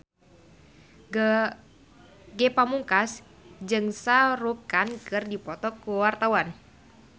Ge Pamungkas jeung Shah Rukh Khan keur dipoto ku wartawan